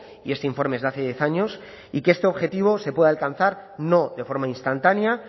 y este informe es de hace diez años y que este objetivo se puede alcanzar no de forma instantánea